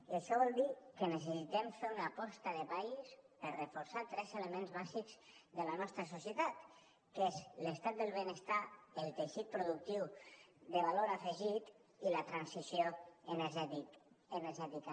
i això vol dir que necessitem fer una aposta de país per reforçar tres elements bàsics de la nostra societat que són l’estat del benestar el teixit productiu de valor afegit i la transició energètica